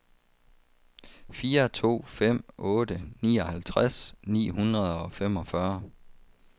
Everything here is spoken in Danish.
fire to fem otte nioghalvtreds ni hundrede og femogfyrre